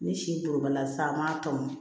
Ni si kolobala sa an m'a tɔmɔ